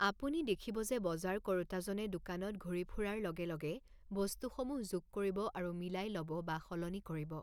আপুনি দেখিব যে বজাৰ কৰোঁতাজনে দোকানত ঘূৰি ফুৰাৰ লগে লগে বস্তুসমূহ যোগ কৰিব আৰু মিলাই ল'ব বা সলনি কৰিব।